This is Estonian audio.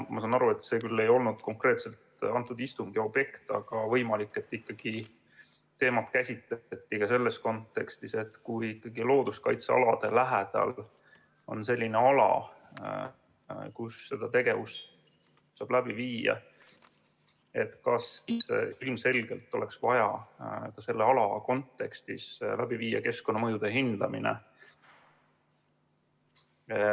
Ma saan aru, et see küll ei olnud konkreetselt selle istungi objekt, aga võimalik, et ikkagi teemat käsitleti ka selles kontekstis, et kui ikkagi looduskaitsealade lähedal on selline ala, kus seda tegevust saab läbi viia, siis ilmselgelt oleks vaja selle ala kontekstis läbi viia keskkonnamõjude hindamine.